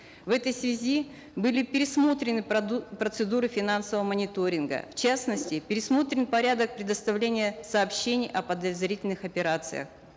в этой связи были пересмотрены процедуры финансового мониторинга в частности пересмотрен порядок предоставления сообщений о подозрительных операциях